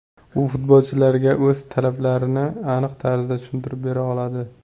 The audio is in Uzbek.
U futbolchilarga o‘z talablarini aniq tarzda tushuntirib bera oladi”.